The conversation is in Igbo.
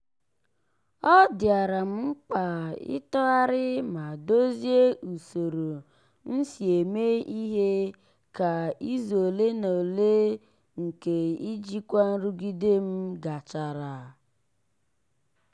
ọ dịara m mkpa ịtọgharị ma dozie usoro m si eme ihe ka izu ole na ole nke ijikwa nrụgide m gachara.